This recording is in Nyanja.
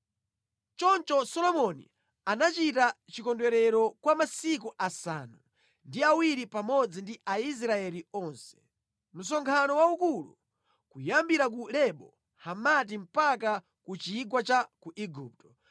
Choncho nthawi imeneyi, Solomoni anachita chikondwerero kwa masiku asanu ndi awiri pamodzi ndi Aisraeli onse. Unali msonkhano waukulu, kuyambira ku Lebo Hamati mpaka ku chigwa cha ku Igupto.